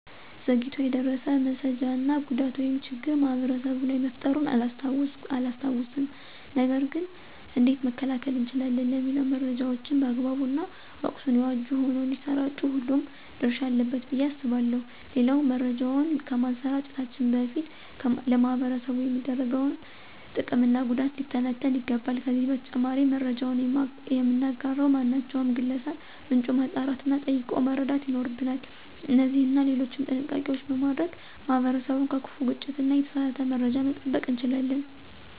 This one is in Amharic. ዘግይቶ የደረሰ መሰጃ እና ጉዳት ወይም ችግር ማህበረሰቡ ላይ መፈጠሩን አላስታውስም። ነገር ገን እንዴት መከላከል እንችላለን? ለሚለው መረጃዎችን በአግባቡ እና ወቅቱን የዋጁ ሆነው እንዳሰራጩ ሁሉም ድረሻ አለበት ብዬ አስባለሁ። ሌላው መረጃውን ከማሰራጨታችን በፊት ለማህበረሰቡ የሚያደርሰው ጥቅም እና ጉዳት ሊተነተን ይገባል። ከዚህ በተጨማሪም መረጃውን የምናጋራ ማናቸውም ግለሰብ ምንጩን ማጣራት እና ጠይቆ መረዳት ይኖርብናል። እነዚህንና ሌሎችም ጥንቃቄዎች በማድረግ ማህበረሰቡን ከከፋ ግጭት እና የተሳሳተ መረጃ መጠበቅ እንችላለን።